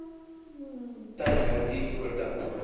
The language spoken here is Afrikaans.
tyd hernu voordat